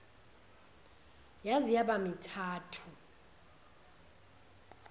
yaze yaba mithathu